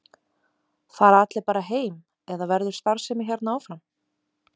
Fara allir bara heim eða verður starfsemi hérna áfram?